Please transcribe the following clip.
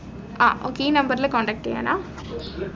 ആഹ് okay ഈ number ൽ contact ചെയ്യാനാ